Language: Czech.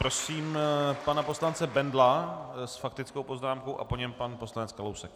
Prosím pana poslance Bendla s faktickou poznámkou a po něm pan poslanec Kalousek.